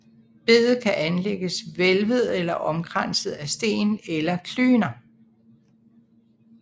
Bedet kan enten anlægges vælvet eller omkranset af sten eller klyner